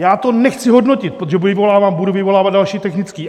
Já to nechci hodnotit, protože budu vyvolávat další technický.